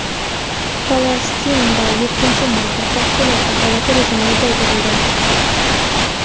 Falastinda yettinchi marta favqulodda holat rejimi uzaytirildi.